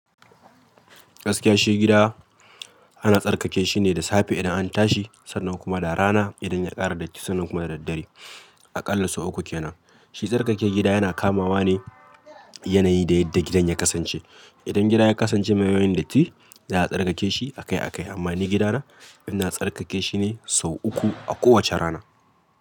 Gaskiya shi gida ana tsarkake shi ne da safe idan an tashi, sannan kuma da rana idan ya ƙara datti, sannan kuma da daddare. A ƙalla sau uku kenan. Shi tsarkake gida yana kamawa ne yanayi da yadda gidan ya kasance. Idan gida ya kasance mai yawan datti za a tsarkake shi akai akai. Amma ni gidana ina tsarkake shi ne sau uku a kowace rana.